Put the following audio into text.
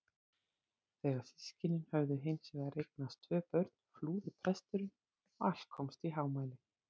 Þegar systkinin höfðu hins vegar eignast tvö börn flúði presturinn og allt komst í hámæli.